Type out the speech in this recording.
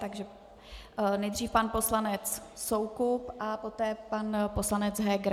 Takže nejdřív pan poslanec Soukup a poté pan poslanec Heger.